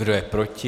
Kdo je proti?